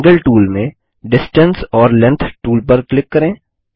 angle tool में distance ओर length tool पर क्लिक करें